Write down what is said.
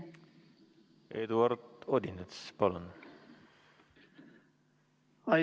Eduard Odinets, palun!